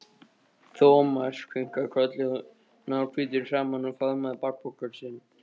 Thomas kinkaði kolli, náhvítur í framan, og faðmaði bakpokann sinn.